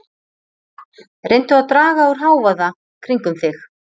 Reyndu að draga úr hávaða kringum þig.